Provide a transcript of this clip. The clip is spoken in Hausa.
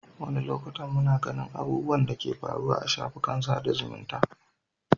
Wani lokacin muna ganin abubuwan da ke faruwa a shafukan sada zumunta.